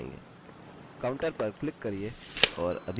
counter पर click करिये और अभी हमें शून्य मिला